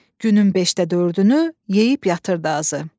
Günün beşdə dördünü yeyib yatırdı azı.